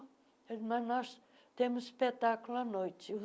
mas nós temos espetáculo à noite.